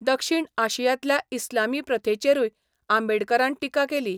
दक्षिण आशियांतल्या इस्लामी प्रथेचेरूय आंबेडकरान टिका केली.